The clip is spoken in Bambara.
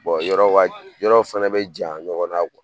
yɔrɔ ka, yɔrɔ fɛnɛ be janya ɲɔgɔn na